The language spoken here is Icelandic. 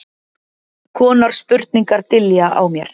konar spurningar dynja á mér.